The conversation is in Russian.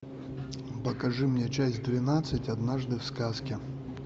покажи мне часть двенадцать однажды в сказке